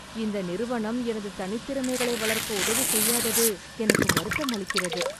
இந்த நிறுவனம் எனது தனித்திறமைகளை வளர்க்க உதவி செய்யாதது எனக்கு வருத்தமளிக்கிறது.